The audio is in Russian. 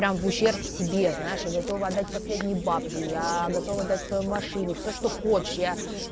прям в ущерб себе знаешь я готов отдать последние бабки я готов отдать свою машину всё что хочешь я